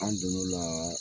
An donn'o la